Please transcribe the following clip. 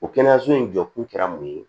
O kɛnɛyaso in jɔkun kɛra mun ye